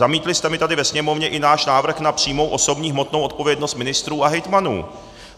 Zamítli jste mi tady ve sněmovně i náš návrh na přímou osobní hmotnou odpovědnost ministrů a hejtmanů.